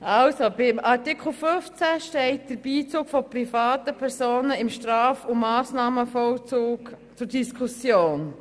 Bei Artikel 15 steht der Beizug von privaten Personen im Straf- und Massnahmenvollzug zur Diskussion.